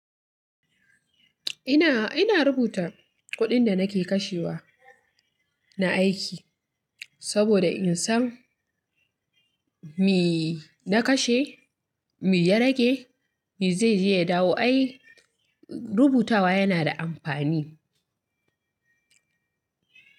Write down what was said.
Ina, ina rubuta kuɗin da nake kashewa na aiki, saboda in san me na kashe, me ya rage, me zai je ya dawo. Ai rubutawa yana da amfani.